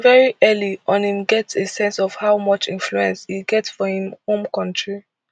very early on im get a sense of how much influence e get for im home kontri